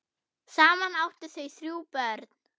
Saman áttu þau þrjú börn.